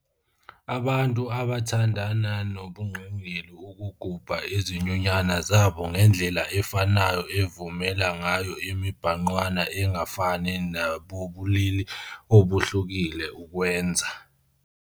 Abantu abathandana nobungqingili ukugubha izinyunyana zabo ngendlela efanayo evumela ngayo imibhangqwana engafani nabobulili obuhlukile ukwenza.